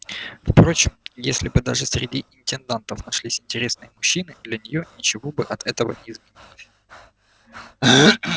впрочем если бы даже среди интендантов нашлись интересные мужчины для нее ничего бы от этого не изменилось